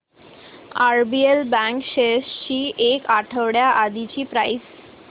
RBL bank shares ची एक आठवड्या आधीची प्राइस